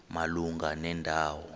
malunga nenda wo